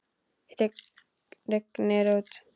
Rignir úr.